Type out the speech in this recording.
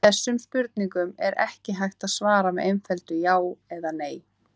Þessum spurningum er ekki hægt að svara með einföldu já eða nei.